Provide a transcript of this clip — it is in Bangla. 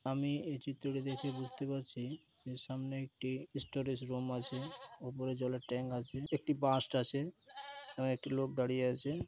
আমি এই চিত্রটি দেখে বুঝতে পারছি যে সামনে একটি স্টোরেজ রুম আছে ওপরে জলের ট্যাঙ্ক আছে একটি বাস্ট আছে একটি লোক দাড়িয়ে আছে।